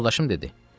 Yoldaşım dedi: